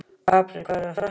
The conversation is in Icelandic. Apríl, hvað er að frétta?